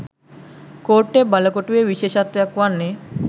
කෝට්ටේ බළකොටුවේ විශේෂත්වයක් වන්නේ